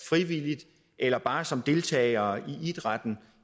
frivillige eller bare som deltagere i idrætten